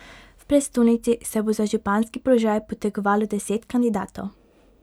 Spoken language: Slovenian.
V prestolnici se bo za županski položaj potegovalo deset kandidatov.